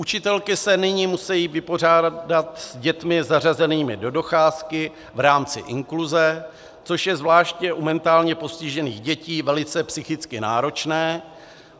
Učitelky se nyní musejí vypořádat s dětmi zařazenými do docházky v rámci inkluze, což je zvláště u mentálně postižených dětí velice psychicky náročné.